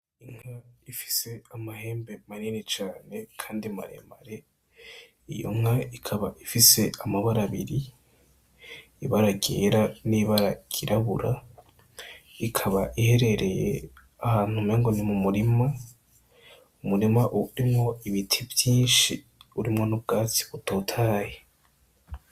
Inka ifise amahembe manini cane kandi maremare, iyo nka ikaba ifise amabara abiri, ibara ryera, n'ibara ryirabura, ikaba iherereye ahantu umengo ni mu murima, umurima urimwo ibiti vyinshi urimwo n'ubwatsi butotahaye.